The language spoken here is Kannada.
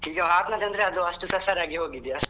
ಈಗ ಆತ್ಮಹತ್ಯೆ ಅಂದ್ರೆ ಅದು ಅಷ್ಟು ಸಸಾರ ಆಗಿ ಹೋಗಿದೆ ಅಷ್ಟು.